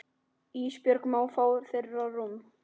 Ísbjörg má fá þeirra rúm.